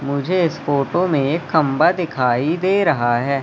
मुझे इस फोटो में एक खंबा दिखाई दे रहा है।